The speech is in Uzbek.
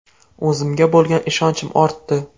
O‘zimga bo‘lgan ishonchim ortdi”.